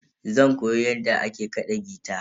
Zan koyi yadda ake kaɗa gita.